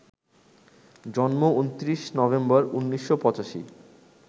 জন্ম ২৯ নভেম্বর, ১৯৮৫